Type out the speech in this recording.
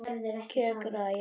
Já, kjökra ég.